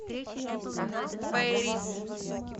пэрис